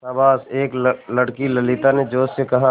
शाबाश एक लड़की ललिता ने जोश से कहा